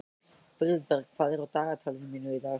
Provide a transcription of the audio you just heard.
Friðberg, hvað er á dagatalinu mínu í dag?